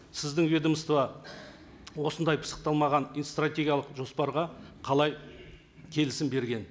сіздің ведомство осындай пысықталмаған стратегиялық жоспарға қалай келісім берген